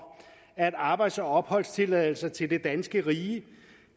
at arbejds og opholdstilladelser til det danske rige